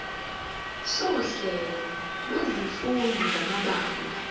sohlelo lwezifundo samabanga